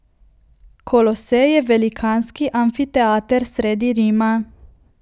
Kolosej je velikanski amfiteater sredi Rima.